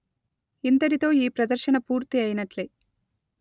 ఇంతటితో ఈ ప్రదర్శన పూర్తి అయినట్లే